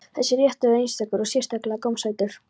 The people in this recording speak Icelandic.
Þessi réttur er einstakur og sérstaklega gómsætur.